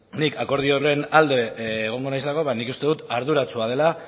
nik akordio horren alde egongo naizelako ba nik uste dut arduratsua dela